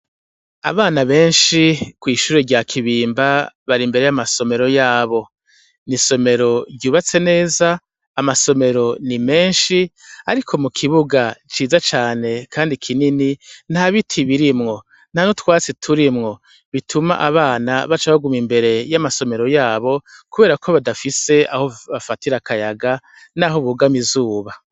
Abana benshi kw' ishure rya Kibimba, bari imbere y' amasomero yabo. Ni isomero ryubatse neza, amasomero ni menshi, ariko mu kibuga ciza cane kandi kinini , nta biti birimwo, nta n' utwatsi turimwo, bituma abana baca baguma imbere y' amasomero yabo, kubera ko badafise aho bafatira akayaga, n' aho bugama izuba.